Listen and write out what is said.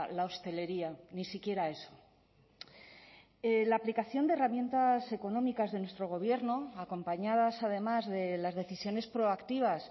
la hostelería ni siquiera eso la aplicación de herramientas económicas de nuestro gobierno acompañadas además de las decisiones proactivas